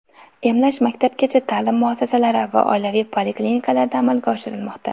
Emlash maktabgacha ta’lim muassasalari va oilaviy poliklinikalarda amalga oshirilmoqda.